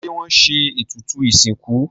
Ṣé wọ́n se ètùtù ìsìnkú?